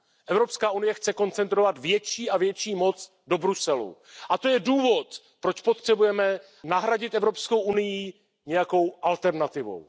Evropská unie chce koncentrovat větší a větší moc do Bruselu, a to je důvod, proč potřebujeme nahradit Evropskou unii nějakou alternativou.